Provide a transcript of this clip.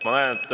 Ma näen, et ...